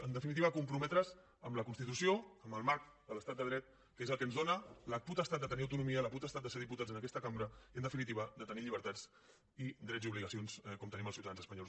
en definitiva a comprometre’s amb la constitució amb el marc de l’estat de dret que és el que ens dóna la potestat de tenir autonomia la potestat de ser diputats en aquesta cambra i en definitiva de tenir llibertats i drets i obligacions com tenim els ciutadans espanyols